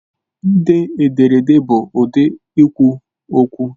Ide ederede bụ ụdị ikwu okwu